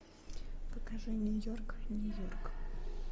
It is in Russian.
покажи нью йорк нью йорк